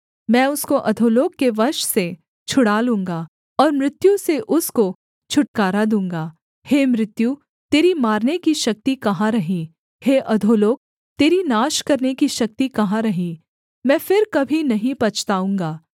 मैं उसको अधोलोक के वश से छुड़ा लूँगा और मृत्यु से उसको छुटकारा दूँगा हे मृत्यु तेरी मारने की शक्ति कहाँ रही हे अधोलोक तेरी नाश करने की शक्ति कहाँ रही मैं फिर कभी नहीं पछताऊँगा